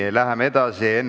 Aga läheme edasi!